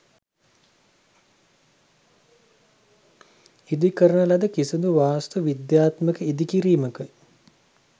ඉදි කරන ලද කිසිදු වාස්තු විද්‍යාත්මක ඉදි කිරීමක